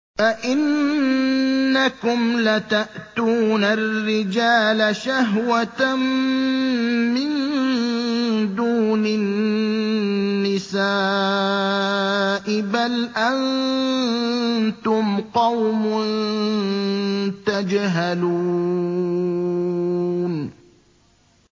أَئِنَّكُمْ لَتَأْتُونَ الرِّجَالَ شَهْوَةً مِّن دُونِ النِّسَاءِ ۚ بَلْ أَنتُمْ قَوْمٌ تَجْهَلُونَ